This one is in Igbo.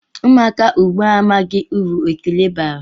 Ụmụaka ugbu a amaghị uru ekele bara.